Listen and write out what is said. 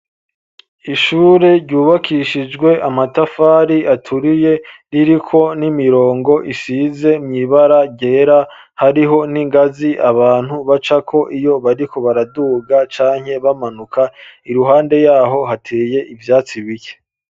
Ishure ryubakishijwe amatafari aturiye, ririko n'imirongo isize mw'ibara ryera, hariho n'ingazi abantu bacako iyo bariko baraduga canke bamanuka, iruhande yaho hateye ivyatsi bike.